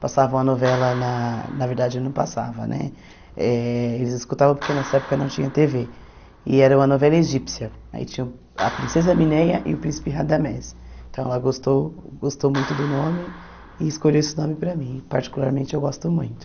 Passava uma novela, na na verdade não passava né eh Eles escutavam porque nessa época não tinha tê vê E era uma novela egípcia Aí tinha a Princesa Mineia e o Príncipe Radamés Então ela gostou gostou muito do nome e escolheu esse nome para mim Particularmente eu gosto muito